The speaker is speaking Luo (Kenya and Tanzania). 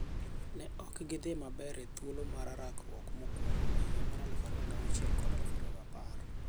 Ne ok gi dhi maber e thuolo mar rakruok mokwongo e higa mar 2006 kod 2010.